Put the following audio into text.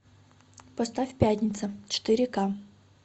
поставь пятница четыре ка